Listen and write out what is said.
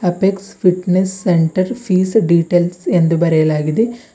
Apex fitness centre fees details ಅಂದು ಬರೆಯಲಾಗಿದೆ.